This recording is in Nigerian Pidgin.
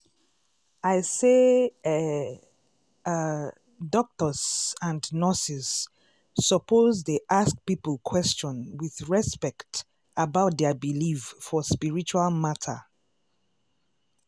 i say eeh ah doctors and nurses suppose dey ask people question with respect about dia believe for spiritual matter.